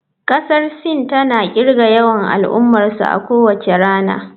Kasar Sin tana kirga yawan al'ummarsu a kowace rana.